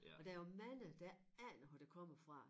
Og der jo mange der ikke aner hvor det kommer fra